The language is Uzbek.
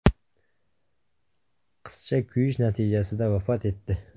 Qizcha kuyish natijasida vafot etdi.